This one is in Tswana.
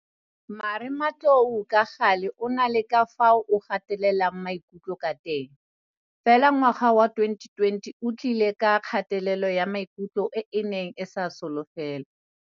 Marematlou ka gale o na le ka fao o gatelelang maikutlo ka teng, fela ngwaga wa 2020 one o tlile ka kgatelelo ya maikutlo e e neng e sa solofelwa.